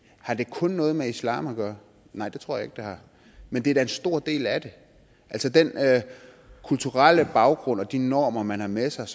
har det kun noget med islam at gøre nej det tror jeg ikke det har men det er da en stor del af det altså den kulturelle baggrund og de normer man har med sig